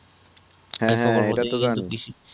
হ্যাঁ হ্যাঁ এটা তো জানি